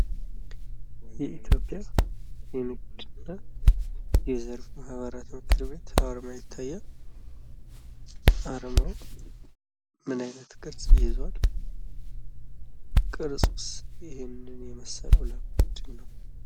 የኢትዮጵያ የንግድ እና የዘርፍ ማህበራት ምክር ቤት አርማ ይታያል አርማው ምን አይነት ቅርጽ ይዟል? ቅርጹስ ይሄንን የመስለው ለምንድን ነው?